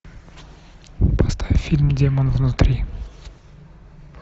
поставь фильм демон внутри